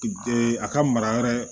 a ka mara yɛrɛ